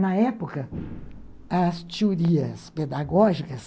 Na época, as teorias pedagógicas